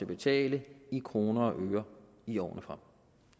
betale i kroner og øre i årene frem